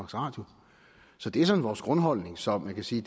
radio så det er sådan vores grundholdning så man kan sige